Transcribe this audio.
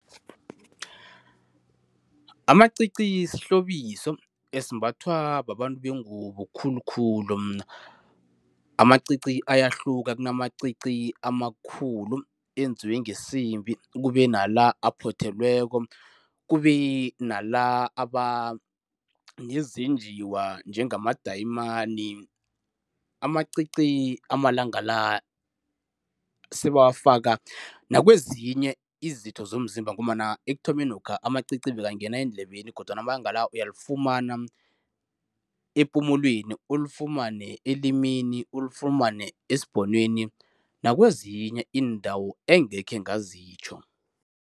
Amacici sihlobiso, esimbathwa babantu bengubo khulukhulu. Amacici ayahluka. Kunamacici amakhulu, enziwe ngesimbi. Kube nala aphothelweko, kube nala aba nezenjiwa njengamadayimani. Amacici amalanga la sebawafaka nakwezinye izitho zomzimba, ngombana ekuthomenokha amacici bekangena eendlebeni kodwana amalanga la uyalifumana epumulweni, ulifumane elimini, ulifumane esibhonweni, nakwezinye iindawo engekhe ngazitjho.